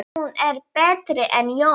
Hún er betri en Jón!